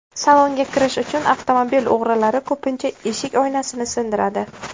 Salonga kirish uchun avtomobil o‘g‘rilari ko‘pincha eshik oynasini sindiradi.